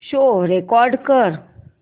show record कर